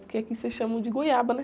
Porque aqui vocês chamam de goiaba, né?